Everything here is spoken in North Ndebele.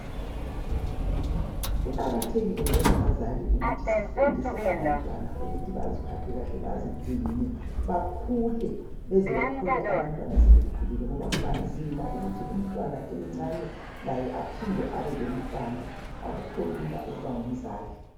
Kuqakathekile njengabazali ukuthi sifundise abantwana ukuthi baziphathe kahle bazigcine bakhule beze bathole abantwana sebekhulile ngoba kuba nzima ukuthi umntwana emncane laye aphinde abe lomntwana akukho lula ukuba ngumzali.